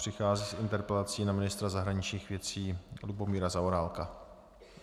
Přichází s interpelací na ministra zahraničních věcí Lubomíra Zaorálka.